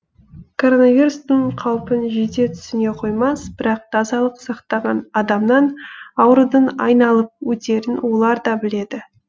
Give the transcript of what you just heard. коронавирустың қаупін жете түсіне қоймас бірақ тазалық сақтаған адамнан аурудың айналып өтерін олар да біледі